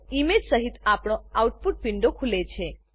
image સહીત આપણો output window ખુલે છે